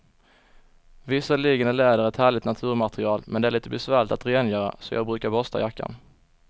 Visserligen är läder ett härligt naturmaterial, men det är lite besvärligt att rengöra, så jag brukar borsta jackan.